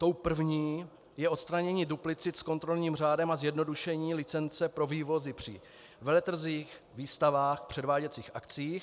Tou první je odstranění duplicit s kontrolním řádem a zjednodušení licence pro vývozy při veletrzích, výstavách, předváděcích akcích.